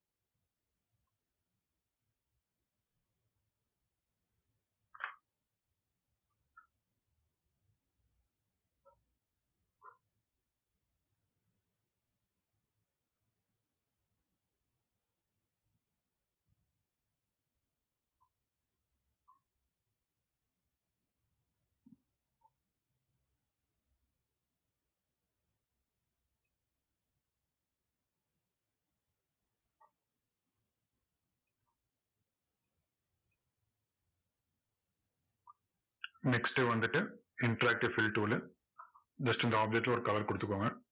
next வந்துட்டு interactive fill tool உ just இந்த object ல ஒரு color கொடுத்துக்கோங்க.